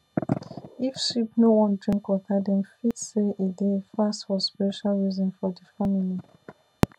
if sheep no wan drink water dem fit say e dey fast for spiritual reason for the family